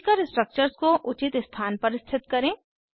खींचकर स्ट्रक्चर्स को उचित स्थान पर स्थित करें